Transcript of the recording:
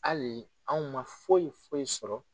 Hali anw man foyi foyi sɔrɔ.